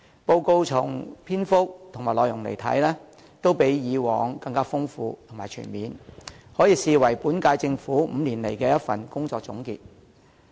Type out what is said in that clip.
報告的篇幅和內容，看來都較以往更豐富和全面，可視為本屆政府5年來的一份工作總結。